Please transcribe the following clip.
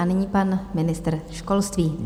A nyní pan ministr školství.